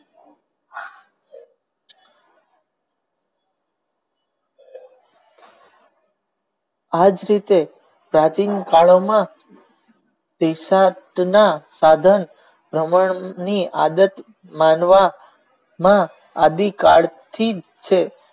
આજ રીતે stating દિશાંત ના સાધન વમન ની આદત માનવામાં આદિકાળ થી છે.